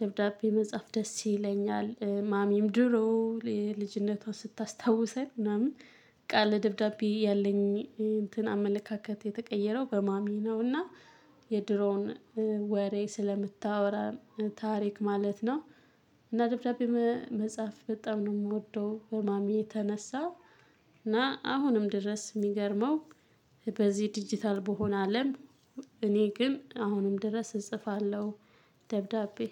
ደብዳቤ መጻሐፍ ደስ ይለኛል። ማሚም ድሮ ልጅነቷን ስታስታውሰን ምናምን በቃ ለደብዳቤ ያለኝ እንትን አመለካከት የተቀየረው በማሚ ነው። እና የድሮውን ወሬ ስለምታወራ ታሪክ ማለት ነው። እና ደብዳቤ መጻሐፍ በጣም ነው የምወደው በማሚ የተነሳ። እና አሁንም ድረስ የሚገርመው በዚህ ዲጂታል በሆነ አለም እኔ ግን አሁንም ድረስ እጽፋለሁ። ደብዳቤ